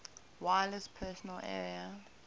wireless personal area